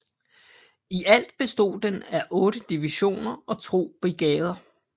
I alt bestod den af otte divisioner og to brigadeer